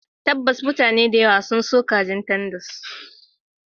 Tabbas, mutane da yawa. sun so kajin tenders